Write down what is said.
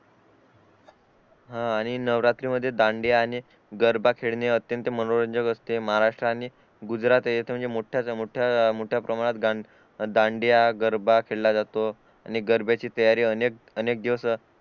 हा आणि नवरात्री मध्ये दांडिया आणि गरबा खेळणे अत्यंत मनोरंजन असते महाराष्ट्र आणि गुजरात हे तर म्हणजे मोठा मोठ्याप्रमाणात दांडिया गरबा खेळाला जातो आणि गरब्याची तयारी अनेक अनेक दिवस